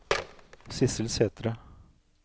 Sissel Sætre